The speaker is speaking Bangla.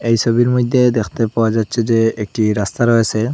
এই ছবির মধ্যে দেখতে পাওয়া যাচ্ছে যে একটি রাস্তা রয়েসে।